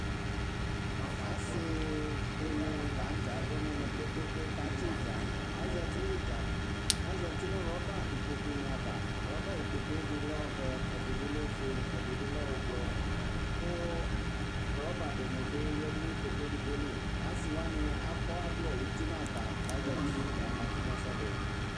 Asi dini lanʋtɛ abʋ nʋ ɛmɛ kpe kpe kpe kʋ atsi idza azati nʋ iidza azati nʋ rɔba ikpokʋ ni ava rɔba ikpokʋe edini lɛ ɔvɛ ɛdibi lɛ ofue ɛdibi lɛ ʋblɔ kʋ roba dini bi yadʋ nʋ ikpokʋ ɛdigboli asi wani akɔ ɔvlɛ uti nʋ ava kʋ azati kakatʋ nʋ ɛsɛdi